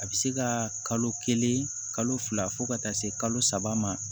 A bɛ se ka kalo kelen kalo fila fo ka taa se kalo saba ma